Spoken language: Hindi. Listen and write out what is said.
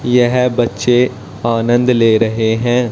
यह बच्चे आनंद ले रहे हैं।